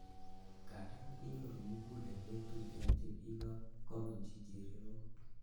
Ngandan, kinyoru mugulelwek tuten chekiko kobunji chererok.